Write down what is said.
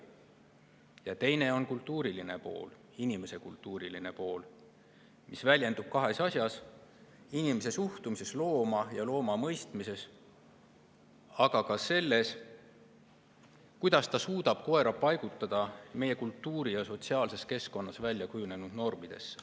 Ja teine on kultuuriline pool, inimese kultuuriline pool, mis väljendub kahes asjas: inimese suhtumises looma ja looma mõistmises, aga ka selles, kuidas ta suudab koera paigutada meie kultuuri- ja sotsiaalses keskkonnas välja kujunenud normidesse.